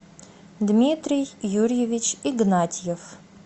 дмитрий юрьевич игнатьев